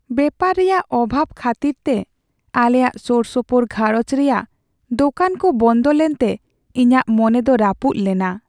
ᱵᱮᱯᱟᱨ ᱨᱮᱭᱟᱜ ᱚᱵᱷᱟᱵᱽ ᱠᱷᱟᱹᱛᱤᱨᱛᱮ ᱟᱞᱮᱭᱟᱜ ᱥᱳᱨᱥᱳᱯᱳᱨ ᱜᱷᱟᱨᱚᱸᱡᱽ ᱨᱮᱭᱟᱜ ᱫᱳᱠᱟᱱ ᱠᱚ ᱵᱚᱱᱫᱚ ᱞᱮᱱᱛᱮ ᱤᱧᱟᱹᱜ ᱢᱚᱱᱮ ᱫᱚ ᱨᱟᱹᱯᱩᱫ ᱞᱮᱱᱟ ᱾